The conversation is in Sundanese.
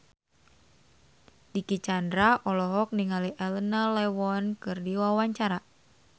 Dicky Chandra olohok ningali Elena Levon keur diwawancara